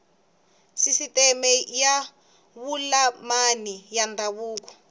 sisiteme ya vululami ya ndhavuko